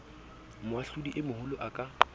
moahlodi e moholo a ka